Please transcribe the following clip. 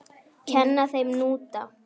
Kenna þeim hnúta?